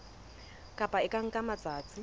kopo e ka nka matsatsi